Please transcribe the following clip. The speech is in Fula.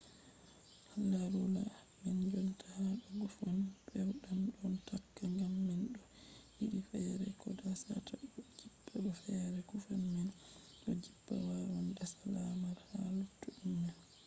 larula man jonta ha do guffom pewɗam ɗon takka ngam man ɗo yiɗi feere ko dasata ɗo jippa bo feere guffom man ɗon jippa wawan dasa lamar ha luttuɗum man